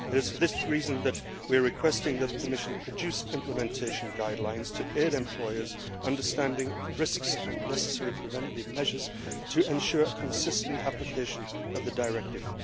It is for this reason that we are requesting that the Commission produce implementation guidelines to aid employers' understanding of the risks and necessary preventative measures to ensure a consistent application of the directive.